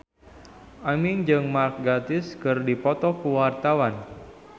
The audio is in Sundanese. Aming jeung Mark Gatiss keur dipoto ku wartawan